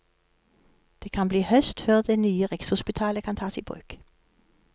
Det kan bli høst før det nye rikshopitalet kan tas i bruk.